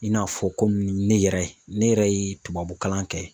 I n'a fɔ komi ne yɛrɛ ne yɛrɛ ye tubabu kalan kɛ.